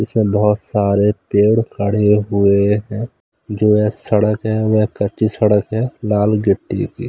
इसमें बहुत सारे तेड़ खड़े हुए हैं जो यह सड़क है वह कच्ची सड़क है लाल गिट्टी की--